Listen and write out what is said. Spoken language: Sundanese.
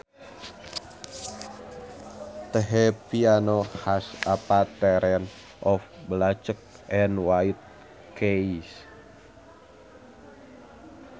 The piano has a pattern of black and white keys